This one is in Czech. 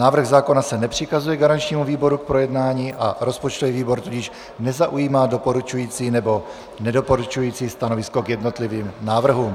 Návrh zákona se nepřikazuje garančnímu výboru k projednání, a rozpočtový výbor tudíž nezaujímá doporučující nebo nedoporučující stanovisko k jednotlivým návrhům.